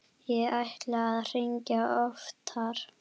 Ég ætlaði að hringja oftar.